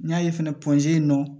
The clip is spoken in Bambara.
N y'a ye fɛnɛ in nɔ